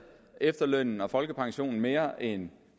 efterlønnen og folkepensionen mere end